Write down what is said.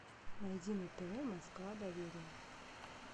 найди на тв москва доверие